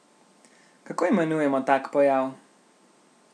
Kako imenujemo tak pojav?